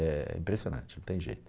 É impressionante, não tem jeito.